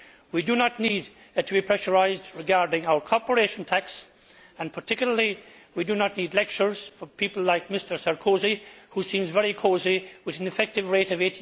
We do not need to be pressurised regarding our corporation tax and we particularly do not need lectures from people like Mr Sarkozy, who seems very cosy with an effective rate of